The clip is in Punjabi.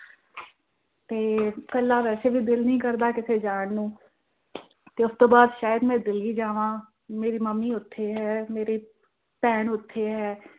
ਤੇ ਕੱਲਾ ਵੈਸੇ ਵੀ ਦਿਲ ਨਹੀਂ ਕਰਦਾ ਕਿਤੇ ਜਾਣ ਨੂੰ ਉਸ ਤੋਂ ਬਾਅਦ ਸ਼ਾਇਦ ਮੈਂ ਦਿੱਲੀ ਜਾਵਾਂ, ਮੇਰੀ ਮੰਮੀ ਉੱਥੇ ਹੈ, ਭੈਣ ਉੱਥੇ ਹੈ।